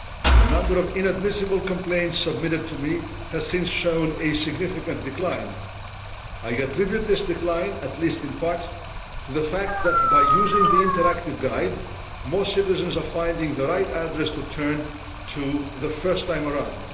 The number of inadmissible complaints submitted to me has since shown a significant decline. I attribute this decline, at least in part, to the fact that, by using the interactive guide, more citizens are finding the right address to turn to the first time around.